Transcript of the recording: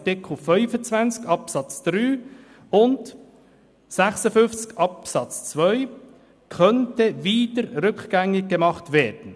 Art. 25 Abs. 3 und 56 Abs. 2) könnte wieder rückgängig gemacht werden.